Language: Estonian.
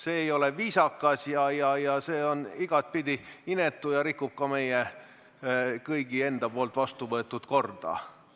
See ei ole viisakas, see on igatepidi inetu ja rikub meie kõigi poolt vastu võetud korda.